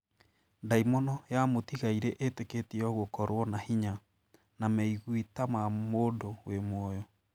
Ndaimono ya mũtigairĩ ĩtĩkĩtio gũkorwo na hinya, na meigwi ta ma mũndũ wĩ mũoyo